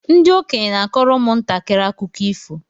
Ndị okenye n'akọrọ ụmụ ntakịrị akụkọ ifo